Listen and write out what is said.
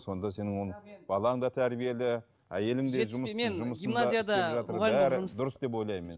сонда сенің оны балаң да тәрбиелі әйелің де бәрі дұрыс деп ойлаймын мен